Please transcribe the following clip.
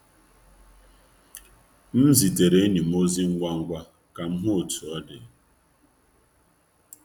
M zitere enyi m ozi ngwa ngwa ka m hụ otu ọ dị.